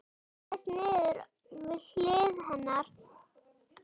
Hann lagðist niður við hlið hennar.